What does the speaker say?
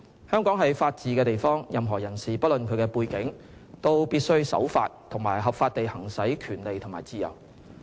香港是法治之地，任何人士不論其背景，都必須守法及合法地行使權利和自由。